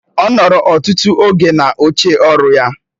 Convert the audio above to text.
Ọ nọrọ ọtụtụ oge n'oche ọrụ ya.